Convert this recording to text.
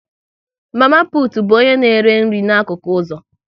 Mama putu bụ onye na-ere nri n'akụkụ ụzọ